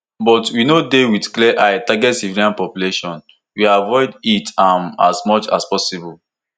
but we no dey wit clear eye target civilian population we avoid it am as much as possible